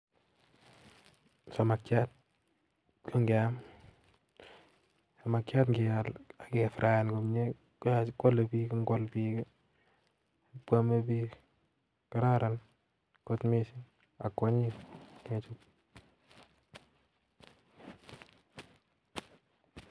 Samakiat ngeal ak kifraen komye kwole biik ak kwome biik kararan missing ak kwanyin kechop